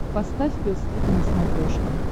поставь пес и ко на смотрешке